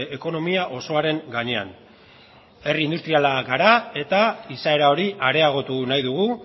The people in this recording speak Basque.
ekonomia osoaren gainean herri industriala gara eta izaera hori areagotu nahi dugu